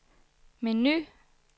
menu